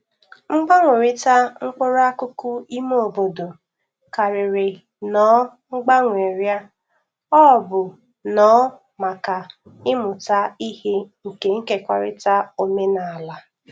Mgbanwerita mkpụrụ akụkụ ime obodo karịrị nnọọ mgbanwerịa= ọ bụ nnọọ maka ịmụta ihe na nkekọrịta omenala.